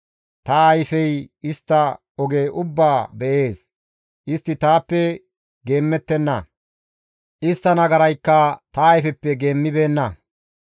Ta ayfey istta oge ubbaa be7ees; istti taappe geemmettenna; istta nagaraykka ta ayfeppe geemmibeenna.